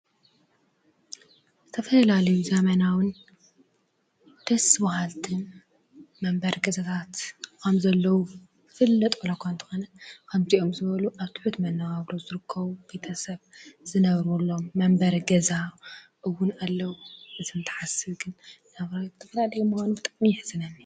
ዝተፈላለዩ ዘመናዊን ደስ በሃልትን መንበሪ ገዛታት ከም ዘለዉ ዝፍለጥ ዋላኳ እንተኾነ ከምዚኦም ዝበሉ አብ ትሑት መነባብሮ ዝርከቡ ቤተሰብ ዝነብሩሎም መንበሪ ገዛ እዉን አለዉ ።እዚ እንትሓስብ ግን ብጣዕሚ የሕዝነኒ።